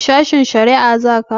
Sashen shari'a za ka?